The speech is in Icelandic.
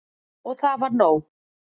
Og það var nóg.